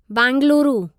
Bengaluru